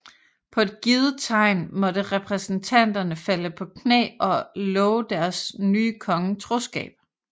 På et givet tegn måtte repræsentanterne falde på knæ og love deres nye konge troskab